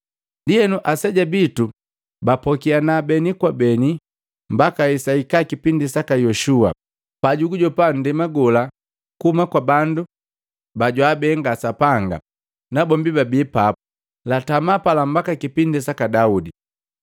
Ndienu aseja bitu bapokiana beni kwa beni mbaka hesaika kipindi saka Yoshua, pabijijopa nndema gola kuhuma kwa bandu bajwaabenga Sapanga nabombi babii papu. Latamaa pala mbaka kipindi saka Daudi.